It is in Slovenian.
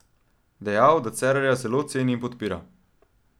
Dejal, da Cerarja zelo ceni in podpira.